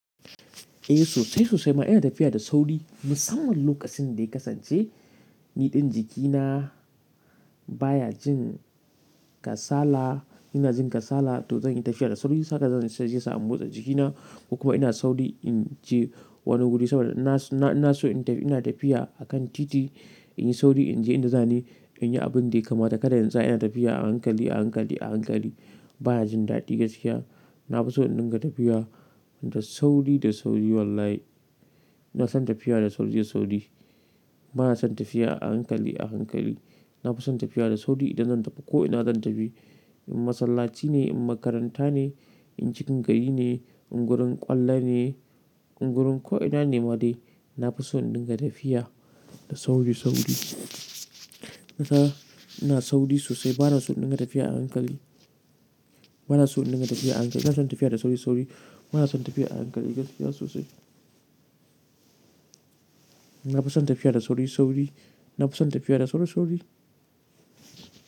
Eh sosai sosai ma ina tafiya da sauri. Musamman lokacin da ya kasance niɗin jikina baya jin kasala, ina jin kasala to zan yi tafiya da sauri. Saka zan sha jiyya sa'an motsa jikina. Kuma ina sauri in je wani guri saboda ina so ina tafiya a kan titi in yi sauri in je inda zan yi abin da ya kamata. Kada yanzu ina tafiya a hankali, a hankali, a hankali baya jin daɗi gaskiya. Na fi so in dinga tafiya da sauri da sauri wallahi. Ina son tafiya da sauri da sauri. Bana son tafiya a hankali a hankali. Na fi son tafiya da sauri idan zan tafi ko'ina zan tafi. In masallaci ne, in makaranta ne, in cikin gari ne, ingurin ƙwallo ne, ingurin ko'ina ne ma dai. Na fi so in dinga tafiya da sauri sauri. Na ta ina sauri sosai bana so in dinga tafiya a hankali. Bana so in dinga tafiya a hankali. Ina son tafiya da sauri sauri. Bana son tafiya a hankali gaskiya sosai. Na fi son tafiya da sauri sauri. Na fi son tafiya da sauri sauri.